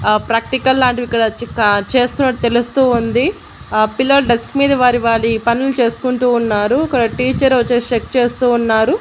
ఆ ప్రాక్టికల్ లాంటివి చిక చేస్తునటువంటి తెలుస్తూ ఉంది ఆ పిల్లలు డెస్క మీద వారి వారి పనులు చేసుకుంటు ఉన్నారు అక్కడ టీచర్ వచ్చేసి చెక్ చేస్తూ ఉన్నారు.